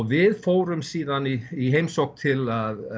við fórum síðan í í heimsókn til